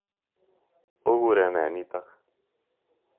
Okure ne nitok?